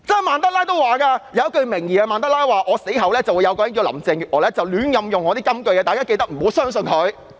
曼德拉可能有一句名言是："在我死後，會有一個名為林鄭月娥的人胡亂引用我的金句，大家記得不要相信她。